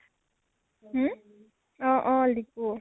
হম ? অ অ । লিপু